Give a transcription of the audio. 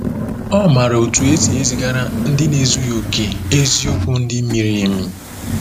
Ọ maara otú e si ezigara ndị na-ezughị okè eziokwu ndị miri emi.